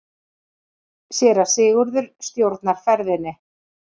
Séra Sigurður stjórnar ferðinni.